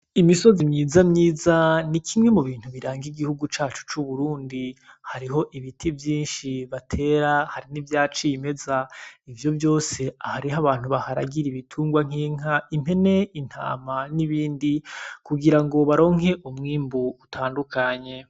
Imisozi myiza myiza ni kimwe mu bintu biranga igihugu cacu c'Uburundi, hariho ibiti vyinshi batera hari nivya cimeza, ivyo vyose hariho abantu baharagira ibitungwa nk'inka, impene, intama nibindi kugira ngo baronke umwimbu utandukanye.